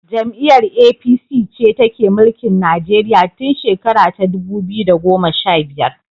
Jam'iyar APC ce take mulkin Nigeria tun shera ta dubu biyu da goma sha biyar.